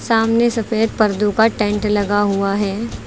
सामने सफेद पर्दों का टेंट लगा हुआ है।